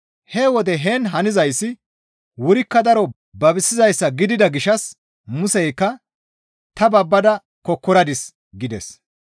He wode heen hanizayssi wurikka daro babisizayssa gidida gishshas Museykka, «Ta babbada kokkoradis» gides.